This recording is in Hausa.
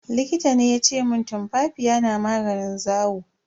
Likita ne yace mun tumfafiya na maganin zawo.